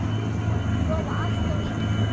Og sofa allt of mikið.